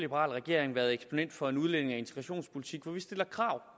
regering været eksponent for en udlændinge og integrationspolitik hvor vi stiller krav